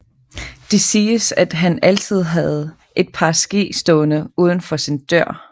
Det siges at han altid havde et par ski stående uden for sin dør